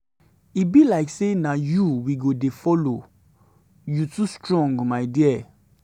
e be like say na you we go dey follow you too strong my dear.